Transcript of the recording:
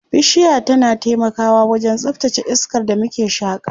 Bishiya tana taimakawa wajen tsaftace iskar da muke shaƙa.